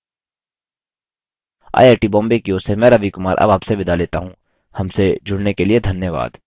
I I T Bombay की ओर से मैं रवि कुमार अब आपसे विदा लेता हूँ हमसे जुड़ने के लिए धन्यवाद